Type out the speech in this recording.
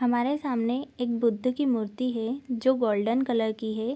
हमारे सामने एक बुद्ध की मूर्ति है जो की गोल्डन कलर की है।